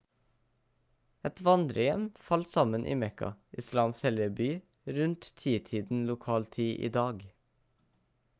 et vandrerhjem falt sammen i mekka islams hellige by rundt titiden lokal tid i dag